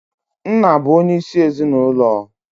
Nna bụ onyeisi ezinụlọ.